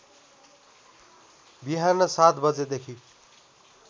बिहान ७ बजेदेखि